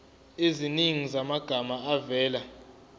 eziningi zamagama avela